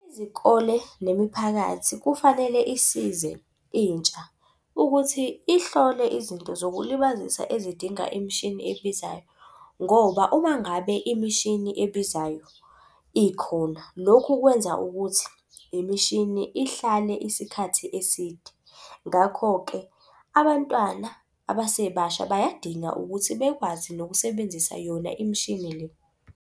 Izikole nemiphakathi kufanele isize intsha. Ukuthi ihlole izinto zokulibazisa ezidinga imishini ebizayo. Ngoba uma ngabe imishini ebizayo ikhona lokhu kwenza ukuthi imishini ihlale isikhathi eside. Ngakho-ke abantwana abasebasha bayadinga ukuthi bekwazi nokusebenzisa yona imishini le.